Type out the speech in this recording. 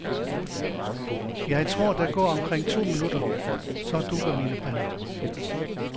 Jeg tror, der går omkring to minutter, så dugger mine briller.